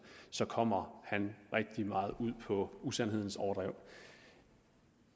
så kommer han rigtig meget ud på usandhedernes overdrev